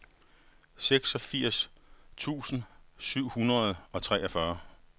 seksogfirs tusind syv hundrede og treogfyrre